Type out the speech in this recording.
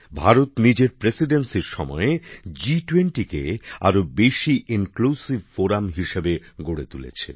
ভারত নিজের সভাপতির দায়িত্ব পালনের সময় জি২০ গোষ্ঠীকে আরো বেশি সমন্বয়ের মঞ্চ হিসেবে গড়ে তুলেছে